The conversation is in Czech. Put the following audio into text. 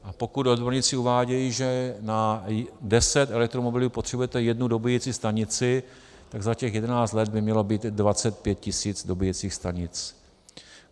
A pokud odborníci uvádějí, že na 10 elektromobilů potřebujete jednu dobíjecí stanici, tak za těch 11 let by mělo být 25 tis. dobíjecích stanic.